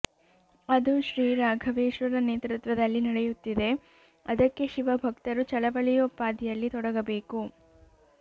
ಅದು ಶ್ರೀ ರಾಘವೇಶ್ವರರ ನೇತೃತ್ವದಲ್ಲಿ ನಡೆಯುತ್ತಿದೆ ಅದಕ್ಕೆ ಶಿವಭಕ್ತರು ಚಳವಳಿಯೋಪಾದಿಯಲ್ಲಿ ತೊಡಗಬೇಕು